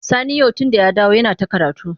Sani yau tunda ya dawo yana ta karatu.